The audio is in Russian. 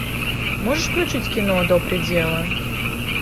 можешь включить кино до предела